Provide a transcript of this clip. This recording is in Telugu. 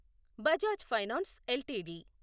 Bajaj finance LTD